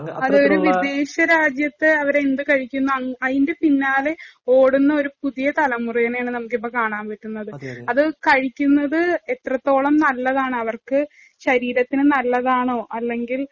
അത് ഒരു വിദേശ രാജ്യത്ത് അവര് എന്ത് കഴിക്കുന്നു അതിന്‍റെ പിന്നാലെ ഓടുന്ന ഒരു പുതിയ തലമുറേനെ കാണാന്‍ പറ്റുന്നത്. അത് കഴിക്കുന്നത് എത്രത്തോളം നല്ലതാണോ, അവര്‍ക്ക് ശരീരത്തിനു നല്ലതാണോ, അല്ലെങ്കില്‍